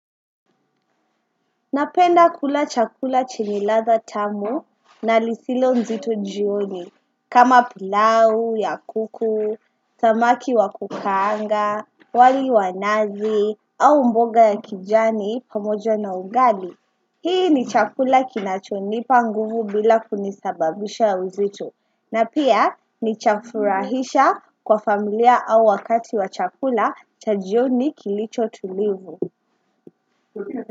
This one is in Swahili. Napenda kula chakula chenye ladha tamu na lisilo nzito jioni, kama pilau, ya kuku, samaki wa kukaanga, wali wa nazi, au mboga ya kijani pamoja na ugali. Hii ni chakula kinachonipa nguvu bila kunisababisha uzito, na pia ni chafurahisha kwa familia au wakati wa chakula chajioni kilicho tulivu.